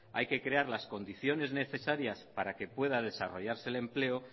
hay que crear las condiciones necesarias para que pueda desarrollarse el empleo